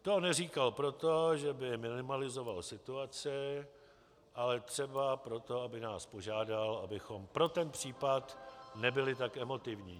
To neříkal proto, že by minimalizoval situaci, ale třeba proto, aby nás požádal, abychom pro ten případ nebyli tak emotivní.